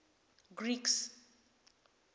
greeks